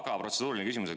Aga protseduuriline küsimus.